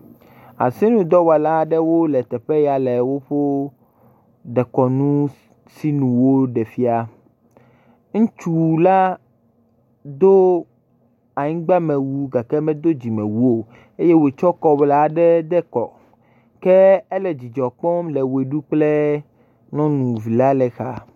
Asinudɔwɔla aɖewo le teƒe ya le woƒe dekɔnu ŋuti nuwo ɖe fia. Ŋutsu la do anyigbame wu gake medo dzimewu o eye wotsɔ kɔwula ɖe de kɔ ke ele dzidzɔ kpɔm le ʋe ɖum kple nyɔvila le xa.